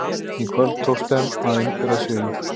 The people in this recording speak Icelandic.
Í kvöld tókst þeim að innbyrða sigur.